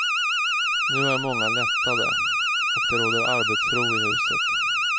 Nu är många lättade och det råder arbetsro i huset.